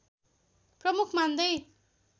प्रमुख मान्दै